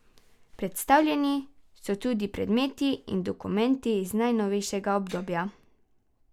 Predstavljeni so tudi predmeti in dokumenti iz najnovejšega obdobja.